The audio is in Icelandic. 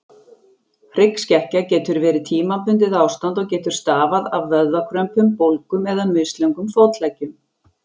Hryggskekkja getur verið tímabundið ástand og getur stafað af vöðvakrömpum, bólgum eða mislöngum fótleggjum.